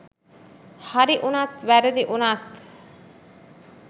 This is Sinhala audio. හරි වුනත් වැරදි වුනත්